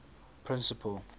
principal